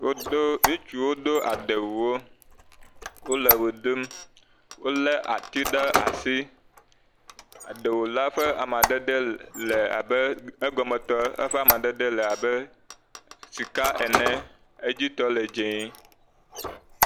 Wodo, ŋutsuwo do adewuwo, wole ʋe ɖum wolé atiwo ɖe asi, adewu la ƒe amadede le abe egɔmetɔ eƒe amadede le abe sika ene, edzitɔ le dzɛ.